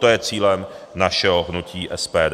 To je cílem našeho hnutí SPD.